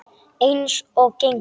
Eins og gengur.